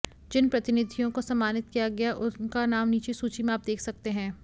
जिन प्रतिनिधियों को सम्मानित किया गया उनका नाम नीचे सूची में आप देख सकते है